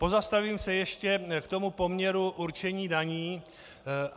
Pozastavím se ještě k tomu poměru určení daní.